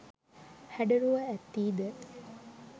හැඩරුව ඇත්තී ද